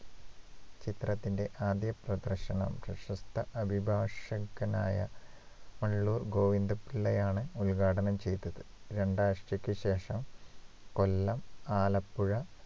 ചിത്രത്തിന്റെ ആദ്യ പ്രദർശനം പ്രശസ്ത അഭിഭാഷകനായ ഉള്ളൂർ ഗോവിന്ദപിള്ളയാണ് ഉത്‌ഘാടനം ചെയ്തത് രണ്ടാഴ്ചയ്ക്ക് ശേഷം കൊല്ലം ആലപ്പുഴ